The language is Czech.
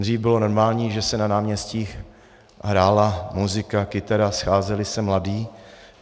Dřív bylo normální, že se na náměstích hrála muzika, kytara, scházeli se mladí.